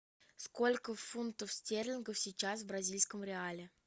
сколько фунтов стерлингов сейчас в бразильском реале